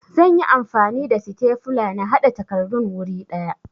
Zan yi amfani da sitefula na haɗa takardun wuri ɗaya